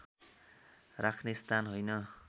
राख्ने स्थान होइन